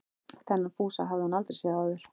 Þennan Fúsa hafði hún aldrei séð áður.